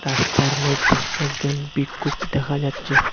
রাস্তার মইধ্যে একজন ভিক্ষুক দেখা যাচ্ছে।